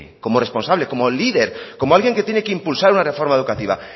como responsable como líder como alguien que tiene que impulsar una reforma educativa